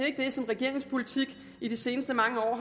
ikke det som regeringens politik i de seneste mange år har